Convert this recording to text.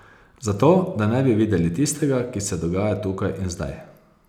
Zato, da ne bi videli tistega, ki se dogaja tukaj in zdaj.